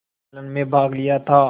सम्मेलन में भाग लिया था